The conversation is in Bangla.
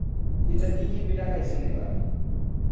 পিঠা কি কি পিঠা খাইয়াছেন এবার